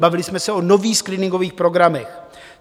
Bavili jsme se o nových screeningových programech.